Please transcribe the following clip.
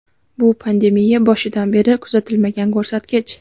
Bu pandemiya boshidan beri kuzatilmagan ko‘rsatkich.